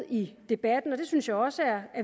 i debatten og det synes jeg også er